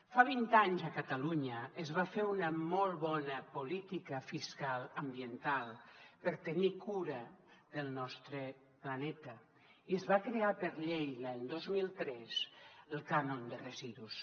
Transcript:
fa vint anys a catalunya es va fer una molt bona política fiscal ambiental per tenir cura del nostre planeta i es va crear per llei l’any dos mil tres el cànon de residus